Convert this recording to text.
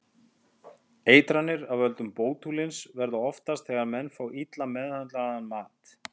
Eitranir af völdum bótúlíns verða oftast þegar menn fá illa meðhöndlaðan mat.